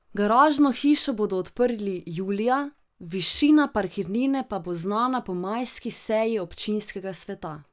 Garažno hišo bodo odprli julija, višina parkirnine pa bo znana po majski seji občinskega sveta.